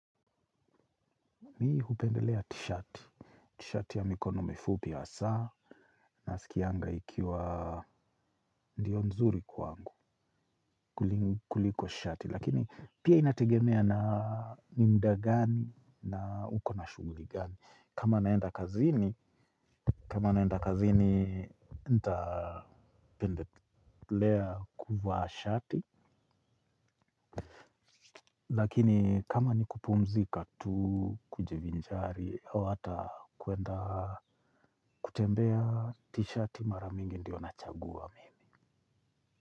Mi hupendelea tishati. Tishati ya mikono mifupi hasaa naskianga ikiwa ndio nzuri kwangu kuliko shati. Lakini pia inategemea na ni mda gani na uko na shuguli gani. Kama naenda kazini, ntapendelea kuvaa shati. Lakini kama ni kupumzika tu kujivinjari, hau ata kuenda kutembea tishati mara mingi ndiyo nachagua mimi.